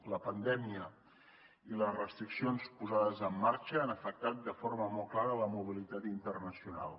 la pandèmia i les restriccions posades en marxa han afectat de forma molt clara la mobilitat internacional